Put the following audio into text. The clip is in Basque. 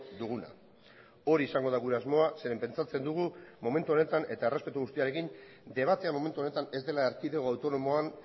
duguna hori izango da gure asmoa zeren pentsatzen dugu momentu honetan eta errespetu guztiarekin debatea momentu honetan ez dela erkidego autonomoan